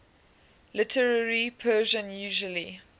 literary persian usually